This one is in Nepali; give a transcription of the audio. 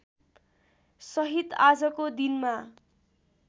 सहित आजको दिनमा